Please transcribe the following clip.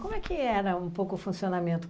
Como é que era um pouco o funcionamento?